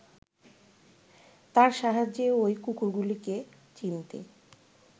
তার সাহায্যে ওই কুকুরগুলিকে চিনতে